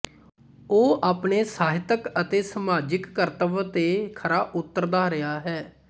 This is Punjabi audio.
ਉਹ ਆਪਣੇ ਸਾਹਿਤਕ ਅਤੇ ਸਮਾਜਕ ਕਰਤਵ ਤੇ ਖ਼ਰਾ ਉਤਰਦਾ ਰਿਹਾ ਹੈ